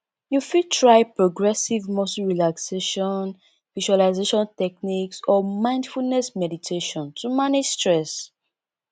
you fit try progressive muscle relaxation visualization techniques or mindfulness meditation to manage stress